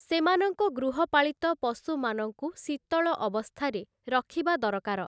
ସେମାନଙ୍କ ଗୃହପାଳିତ ପଶୁମାନଙ୍କୁ ଶୀତଳ ଅବସ୍ଥାରେ ରଖିବା ଦରକାର ।